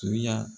Tuya